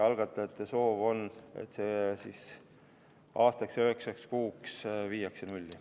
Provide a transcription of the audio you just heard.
Algatajate soov on, et see aastaks ja üheksaks kuuks viiakse nulli.